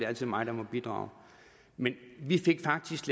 altså mig der må bidrage men vi fik faktisk